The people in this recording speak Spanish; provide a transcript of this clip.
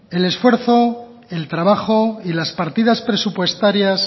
el esfuerzo el trabajo y las partidas presupuestarias